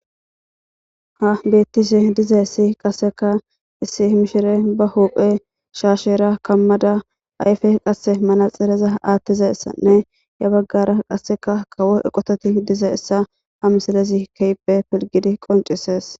ha beettise diza issi qasseka issi mishire ba huphe shaashera kammada ayfe qasse manaxireza aattiza ssanne ya baggara qasseka kawo eqototi diza issa ha misalezi keype pilgidi qoncisees